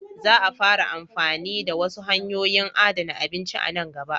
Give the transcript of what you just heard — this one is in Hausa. Za a fara amfani da wasu hanyoyin adana abinci a nan gaba.